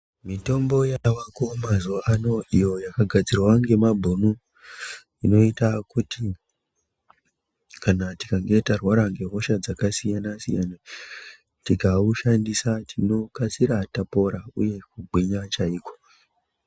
Mitombo yavako mazuva ano iyo yakagadzirwa ngemabhunu, inoita kuti kana tikange tarwara ngehosha dzakasiyana-siyana, tikaushandisa tinokasira tapora uye kugwinya chaiko.